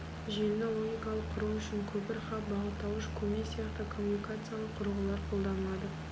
желіні логикалық құру үшін көпір хаб бағыттауыш көмей сияқты коммуникациялық құрылғылар қолданылады